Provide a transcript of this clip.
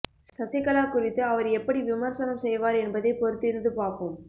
சசிகலா குறித்து அவர் எப்படி விமர்சனம் செய்வார் என்பதை பொறுத்திருந்து பார்ப்போம்